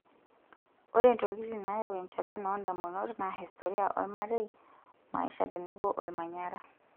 Ore ntokitin naayau enchalan oondamunot naa historia olmarei, maisha tenebo olmanyara.